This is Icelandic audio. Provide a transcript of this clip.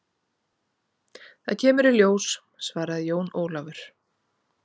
Það kemur í ljós, svaraði Jón Ólafur.